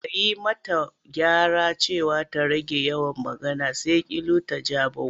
Daga yi mata gyara cewa ta rage yawan magana, sai kilu ta ja bau.